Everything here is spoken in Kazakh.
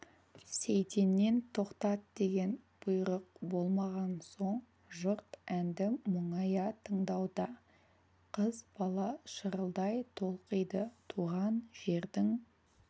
сейтеннен тоқтат деген бұйрық болмаған соң жұрт әнді мұңая тыңдауда қыз бала шырылдай толқиды туған жердің